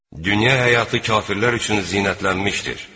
Dünya həyatı kafirlər üçün zinətlənmişdir.